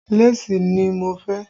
Léèsì ni mo fẹ́